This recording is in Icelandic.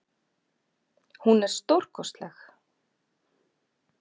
Hún er stórkostleg.